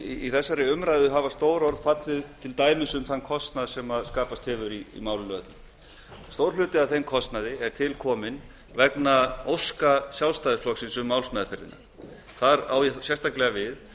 í þessari umræðu hafa til dæmis stór orð fallið um þann kostnað sem skapast hefur í málinu öllu stór hluti af þeim kostnaði er til kominn vegna óska sjálfstæðisflokksins um málsmeðferðina þar á ég sérstaklega við